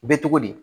Bɛ cogo di